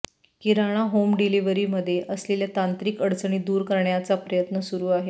किराणा home delivery मध्ये असलेल्या तांत्रिक अडचणी दूर करण्याचा प्रयत्न सुरू आहे